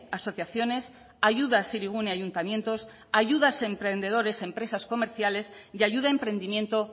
a asociaciones ayudas hirigune a ayuntamientos ayudas a emprendedores a empresas comerciales y ayuda a emprendimiento